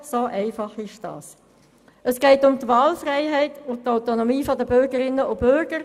Wer Ziffer 3 der Motion annimmt, stimmt ja, wer das ablehnt, stimmt nein.